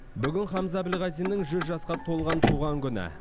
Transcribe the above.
бүгін хамза әбілғазиннің жүз жасқа толған туған күні